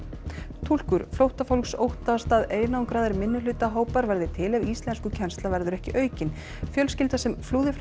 túlkur flóttafólks óttast að einangraðir minnihlutahópar verði til ef íslenskukennsla verður ekki aukin fjölskylda sem flúði frá